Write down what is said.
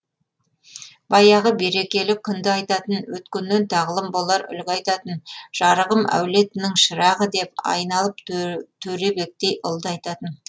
баяғы берекелі күнді айтатын өткеннен тағлым болар үлгі айтатын жарығым әулетінің шырағы деп айналып төребектей ұлды айтатын